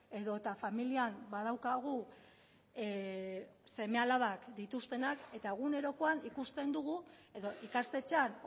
edota familian badaukagu seme alabak dituztenak eta egunerokoan ikusten dugu edo ikastetxean